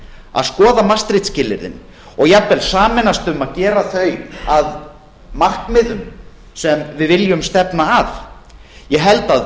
að skoða maastricht skilyrðin og jafnvel sameinast um að gera þau að markmiðum sem við viljum stefna að ég held að